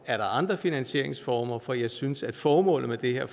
er andre finansieringsformer for jeg synes at formålet med det her